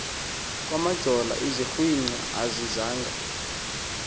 kamajola izigwinta azizanga